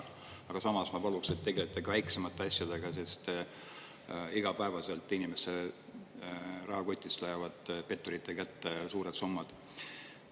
Aga samas ma paluksin, et tegelege ka väiksemate asjadega, sest igapäevaselt inimese rahakotist lähevad petturite kätte suured summad.